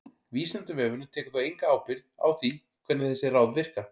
Vísindavefurinn tekur þó enga ábyrgð á því hvernig þessi ráð virka.